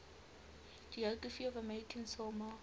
geography of american samoa